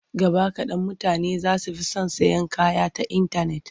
Gaba kaɗan mutane za su fi son sayan kaya ta intanet.